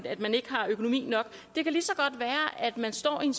at man ikke har økonomi nok det kan lige så godt være at man står i en